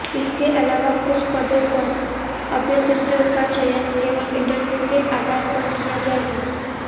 इसके अलावा कुछ पदों पर अभ्यर्थियों का चयन केवल इंटरव्यू के आधार पर किया जाएगा